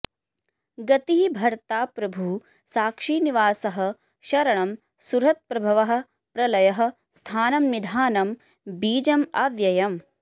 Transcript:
गतिः भर्ता प्रभुः साक्षी निवासः शरणं सुहृत् प्रभवः प्रलयः स्थानं निधानं बीजम् अव्ययम्